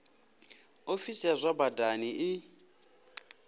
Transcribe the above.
ofisi ya zwa badani i